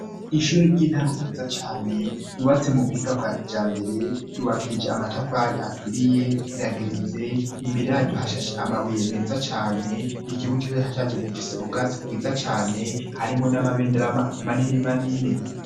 Ishure ry'intango ryiza cane ryubatse mu buhinga bwa kijambere ryubakishije amatafari aturiye irageretse imbere yayo hashashe amabuye meza cane ikibuga hashaso gifise ubwatsi bwiza cyane harimo n'amabendera manini manini.